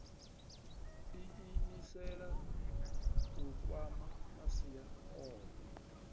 iimisela u kwama masia ohe